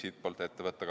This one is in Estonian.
Aitäh!